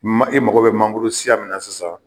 E mago bɛ mangoro siya min na sisan